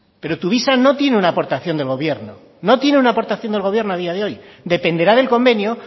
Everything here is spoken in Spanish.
pero tuvisa no tiene una aportación del gobierno no tiene una aportación del gobierno a día de hoy dependerá del convenio